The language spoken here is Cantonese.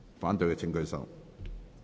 反對的請舉手。